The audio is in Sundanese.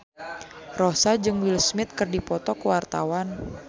Rossa jeung Will Smith keur dipoto ku wartawan